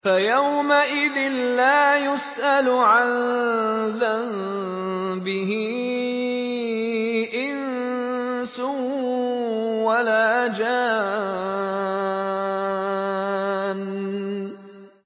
فَيَوْمَئِذٍ لَّا يُسْأَلُ عَن ذَنبِهِ إِنسٌ وَلَا جَانٌّ